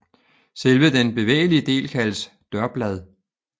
Selve den bevægelige del kaldes dørblad